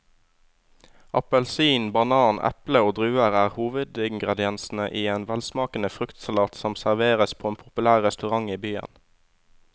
Appelsin, banan, eple og druer er hovedingredienser i en velsmakende fruktsalat som serveres på en populær restaurant i byen.